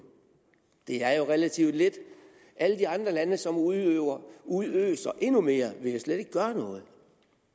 det er jo relativt lidt alle de andre lande som udøser udøser endnu mere vil jo slet ikke gøre noget